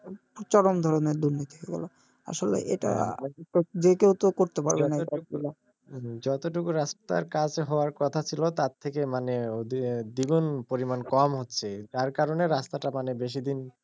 চরম ধরনের দুর্নীতি বলো আসলে এটা যে কেউ তো করতে পারবে না এই কাজ গুলা যতটুকু রাস্তার কাজ হওয়ার কোথা ছিলো তার থেকে মানে দ্বিগুণ পরিমান কম হচ্ছে যার কারনে রাস্তা টা মানে বেশিদিন,